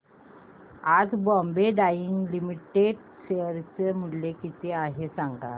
आज बॉम्बे डाईंग लिमिटेड चे शेअर मूल्य किती आहे सांगा